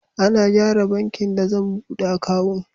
Ana gyara bankin da zan buɗe akawun.